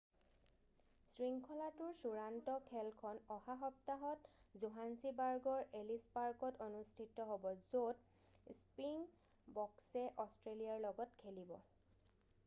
শৃংখলাটোৰ চূড়ান্ত খেলখন অহা সপ্তাহত জোহান্সিবাৰ্গৰ এলিছ পাৰ্কত অনুষ্ঠিত হ'ব য'ত স্পৃইংবক্সয়ে অষ্ট্ৰেলিয়াৰ লগত খেলিব